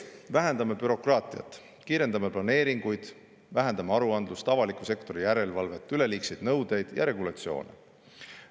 Vähendame bürokraatiat, kiirendame planeeringuid, vähendame aruandlust, avaliku sektori järelevalvet, üleliigseid nõudeid ja regulatsioone.